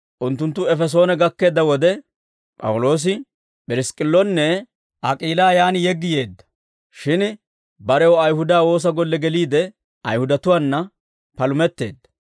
Unttunttu Efesoone gakkeedda wode, P'awuloosi P'irisk'k'illonne Ak'iilaa yaan yeggi yeedda; shin barew Ayihuda woosa golle geliide, Ayihudatuwaana palumetteedda.